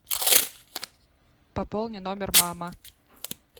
пополни номер мама